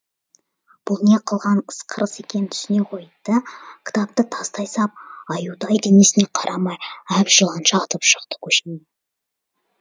бұл не қылған ысқырыс екенін түсіне қойды да кітапты тастай сап аюдай денесіне қарамай әбжыланша атып шықты көшеге